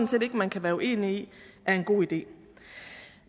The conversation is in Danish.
set ikke man kan være uenig i er en god idé